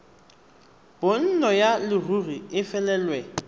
bonno ya leruri e felelwe